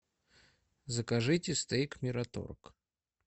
закажите стейк мираторг